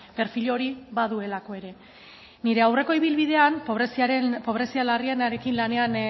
perfil hori baduelako ere nire aurreko ibilbidean pobrezia larrienarekin lanean